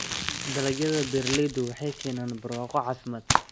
Dalagyada beeralaydu waxay keenaan barwaaqo caafimaad.